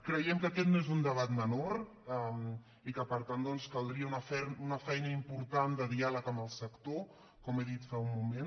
creiem que aquest no és un debat menor i que per tant caldria una feina important de diàleg amb el sector com he dit fa un moment